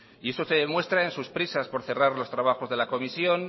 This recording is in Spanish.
eso se demuestra en sus prisas por cerrar los trabajos de la comisión